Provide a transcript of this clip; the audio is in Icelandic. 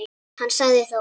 Hann sagði þó